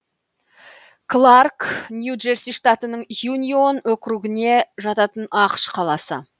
кларк нью джерси штатының юнион округіне жататын ақш қаласы